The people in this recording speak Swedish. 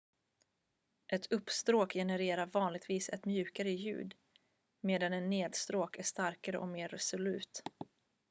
ett uppstråk genererar vanligtvis ett mjukare ljud medan en nedstråk är starkare och mer resolut